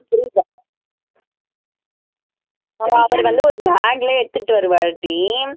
புரியுதா அவர் வந்து ஒரு bag ல எடுத்துகிட்டு வருவாருடி